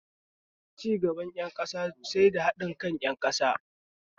Cigaban ƙasa sai da haɗin kan ƴan ƙasa